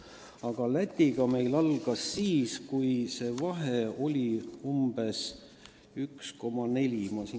Aga probleemid Lätiga algasid siis, kui see vahe oli umbes 1,4-kordne.